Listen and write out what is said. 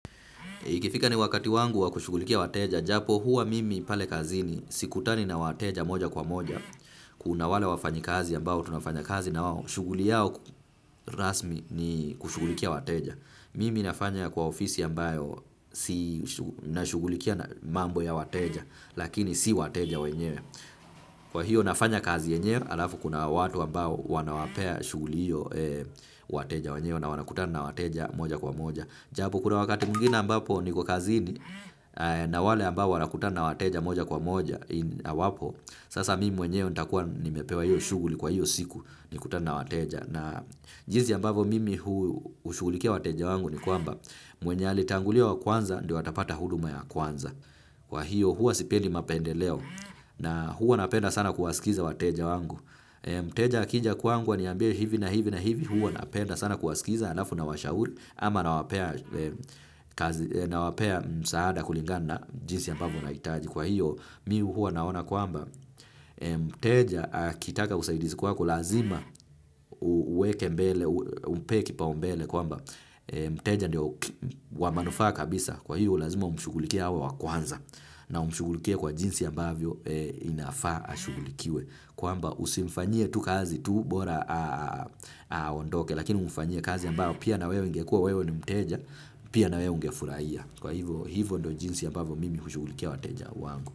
Ikifika ni wakati wangu wa kushugulikia wateja, japokuwa mimi pale kazini sikutani na wateja moja kwa moja. Kuna wale wafanyi kazi ambao, tunafanya kazi na wao. Shughuli yao rasmi ni kushugulikia wateja. Mimi nafanya kwa ofisi ambayo, si nashugulikia mambo ya wateja, lakini si wateja wenyewe. Kwa hiyo nafanya kazi yenyewe, alafu kuna watu ambao wanawapea shughuli hio, wateja wenyewe na wanakutana na wateja moja kwa moja. Japo kuna wakati mwngine ambapo niko kazini, na wale ambao wanakutana na wateja moja kwa moja hawapo. Sasa mimi mwenyewe nitakuwa nimepewa hiyo shughuli kwa hiyo siku, nikutane na wateja. Na jinsi ambavyo mimi hushugulikia wateja wangu ni kwamba, mwenye alitangulia wa kwanza ndio atapata huduma ya kwanza. Kwa hiyo huwa sipendi mapendeleo na huwa napenda sana kuwasikiza wateja wangu. Mteja akija kwangu aniambie hivi na hivi na hivi, huwa napenda sana kuwasikiza halafu nawashauri. Ama nawapea msaada kulingana na jinsi ambavyo anahitaji. Kwa hiyo mi huwa naona kwamba, mteja akitaka usaidizi kwako lazima uweke mbele, umpee kipau mbele kwamba, mteja ndio wa manufaa kabisa. Kwa hiyo lazima umshugulikie hao wa kwanza. Na umshugulikie kwa jinsi ambavyo inafaa ashugulikiwe. Kwamba usimfanyie tu kazi tu bora aondoke. Lakini umfanyie kazi ambayo pia na wewe ungekua wewe ni mteja, pia na wewe ungefurahia. Kwa hivyo, hivyo ndo jinsi ambavyo mimi hushugulikia wateja wangu.